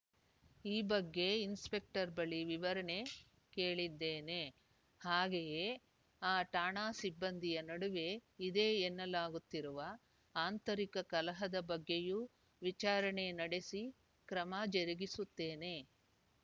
ಈ ಬಗ್ಗೆ ಇನ್ಸ್‌ಪೆಕ್ಟರ್‌ ಬಳಿ ವಿವರಣೆ ಕೇಳಿದ್ದೇನೆ ಹಾಗೆಯೇ ಆ ಠಾಣಾ ಸಿಬ್ಬಂದಿಯ ನಡುವೆ ಇದೆ ಎನ್ನಲಾಗುತ್ತಿರುವ ಆಂತರಿಕ ಕಲಹದ ಬಗ್ಗೆಯೂ ವಿಚಾರಣೆ ನಡೆಸಿ ಕ್ರಮ ಜರುಗಿಸುತ್ತೇನೆ